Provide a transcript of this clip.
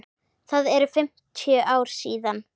Það eru fimmtíu ár síðan.